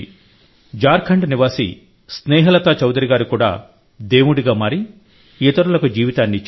జార్ఖండ్ నివాసి స్నేహలతా చౌధరి గారు కూడా దేవుడిగా మారి ఇతరులకు జీవితాన్ని ఇచ్చారు